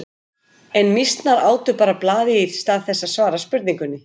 En mýsnar átu bara blaðið í stað þess að svara spurningunni.